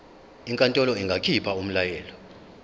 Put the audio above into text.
inkantolo ingakhipha umyalelo